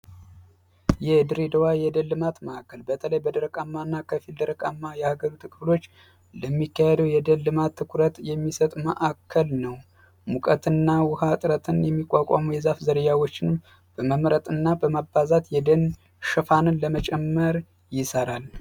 የድሬዳዋ የደን ልማት ማዕከል በተለይ በድረቃማ እና ከፊል ድረቃማ የሀገሪቱ ክፍሎች ለሚካሄደው የደልማት ትኩረት የሚሰጡ መዕከል ነው። ሙቀት ና ውሃ ዕጥረትን የሚቋቋሙ የዛፍ ዘርያዎችንም በመምረጥ እና በማባዛት የደን ሽፋንን ለመጨመር ይሠራል።